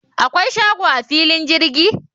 akwai shago a filin jirgin?